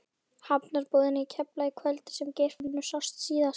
Hafnarbúðina í Keflavík kvöldið sem Geirfinnur sást síðast.